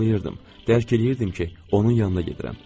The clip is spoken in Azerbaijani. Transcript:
Xatırlayırdım, dərk eləyirdim ki, onun yanına gedirəm.